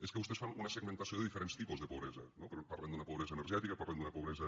és que vostès fan una segmentació de diferents tipus de pobresa no parlen d’una pobresa energètica parlen d’una pobresa